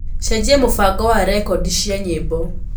cenjĩa mubango wa rekodi cĩa nyĩmbo